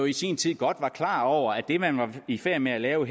i sin tid godt var klar over at det man var i færd med at lave